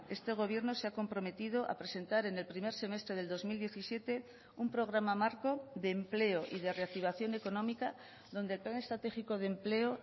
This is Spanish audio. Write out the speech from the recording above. este gobierno se ha comprometido a presentar en el primer semestre del dos mil diecisiete un programa marco de empleo y de reactivación económica donde el plan estratégico de empleo